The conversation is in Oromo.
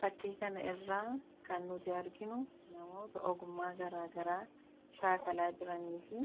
Fakkii kana irraa kan nuti arginu namoota ogummaa garaagaraa shaakalaa jiranii fi